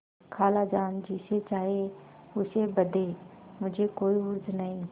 खालाजान जिसे चाहें उसे बदें मुझे कोई उज्र नहीं